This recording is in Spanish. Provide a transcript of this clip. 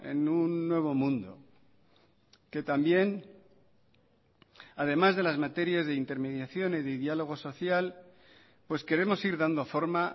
en un nuevo mundo que también además de las materias de intermediación y de diálogo social pues queremos ir dando forma